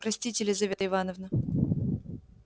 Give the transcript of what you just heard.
простите лизавета ивановна